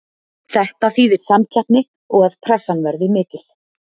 Þetta þýðir samkeppni og að pressan verði mikil.